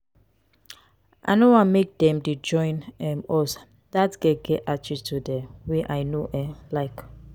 i no want make dey join um us dat girl get attitude um wey i no um like.